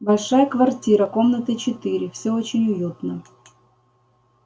большая квартира комнаты четыре всё очень уютно